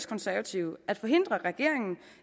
konservative at forhindre regeringen